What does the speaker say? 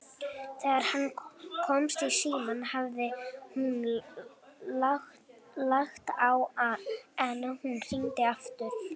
Þegar hann komst í símann hafði hún lagt á, en hún hringdi aftur.